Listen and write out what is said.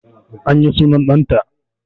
An yi sunan ɗan ta